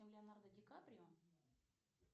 леонардо ди каприо